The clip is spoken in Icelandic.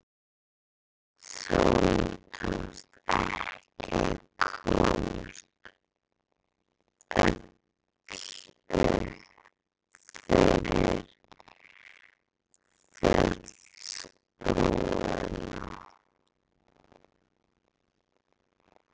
Sólinni tókst ekki að komast öll upp fyrir fjallsbrúnina.